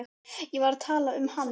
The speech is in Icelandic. Ég var að tala um hann.